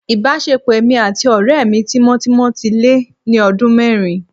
Ìbáṣepọ̀ èmi àti ọ̀rẹ́ tímọ́tímọ́ mi ti lé ní ọdún mẹ́rin